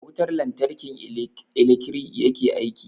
Da wutar lantarki ilekri yake aiki.